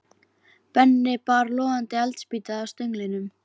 Benni bar logandi eldspýtu að stönglinum.